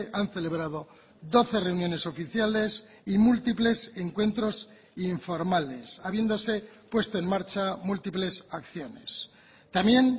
han celebrado doce reuniones oficiales y múltiples encuentros informales habiéndose puesto en marcha múltiples acciones también